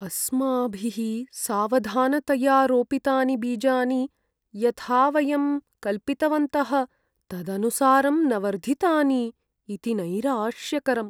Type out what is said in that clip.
अस्माभिः सावधानतया रोपितानि बीजानि यथा वयं कल्पितवन्तः तदनुसारं न वर्धितानि इति नैराश्यकरम्।